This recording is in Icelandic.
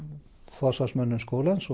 forsvarsmönnum skólans